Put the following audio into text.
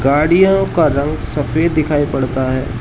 गाड़ियों का रंग सफेद दिखाई पड़ता है।